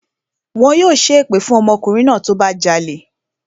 Wọn yóò ṣẹ́ èpè fún ọmọkùnrin náà tó bá jalè